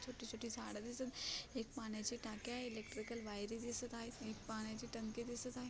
छोटी-छोटी झाड दिसत एक पाण्याची टाकी आहे इलेक्ट्रिकल वायरी दिसत आहेत एक पाण्याची टंकी दिसत आहे.